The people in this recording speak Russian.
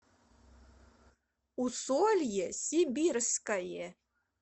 усолье сибирское